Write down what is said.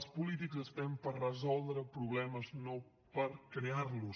els polítics estem per resoldre problemes no per crear los